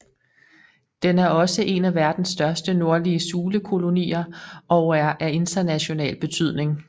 Den er også en af verdens største nordlige sulekolonier og er af international betydning